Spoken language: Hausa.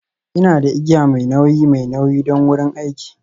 Ina da igiya mai nauyi mai nauyi don wurin aiki.